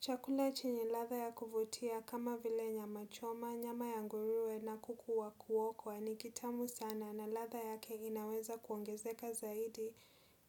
Chakula chenye ladha ya kuvutia kama vile nyama choma, nyama ya nguruwe na kuku wa kuokwa ni kitamu sana na ladha yake inaweza kuongezeka zaidi